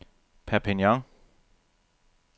Perpignan